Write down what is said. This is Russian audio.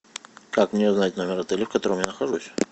как мне узнать номер отеля в котором я нахожусь